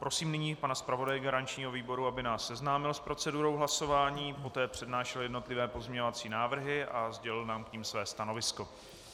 Prosím nyní pana zpravodaje garančního výboru, aby nás seznámil s procedurou hlasování, poté přednášel jednotlivé pozměňovací návrhy a sdělil nám k tomu své stanovisko.